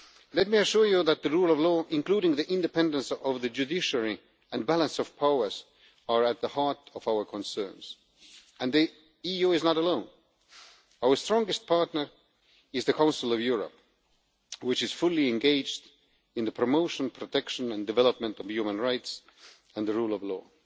Let me assure you that the rule of law, including the independence of the judiciary and the balance of powers, are at the heart of our concerns, and the EU is not alone. Our strongest partner is the Council of Europe, which is fully engaged in the promotion, protection and development of human rights and the rule of law.